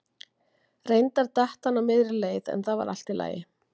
Reyndar datt hann á miðri leið en það var allt í lagi.